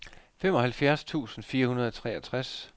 femoghalvfjerds tusind fire hundrede og treogtres